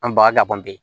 An baga ka ban ten